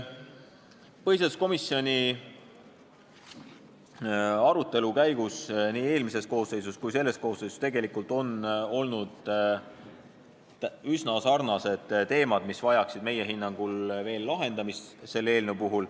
Põhiseaduskomisjoni arutelu käigus on nii eelmises koosseisus kui ka selles koosseisus leitud, et need on üsna sarnased teemad, mis vajaksid meie hinnangul veel lahendamist.